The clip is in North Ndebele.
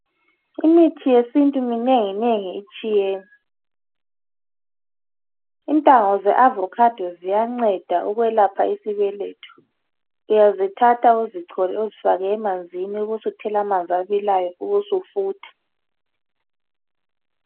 Imithi yesintu minengi-mengi itshiyene intanga zeavocado ziyanceda ukwelapha isibelethu uyazithatha uzichole uzifake emanzini ubusuthela amanzi abilayo ubusufutha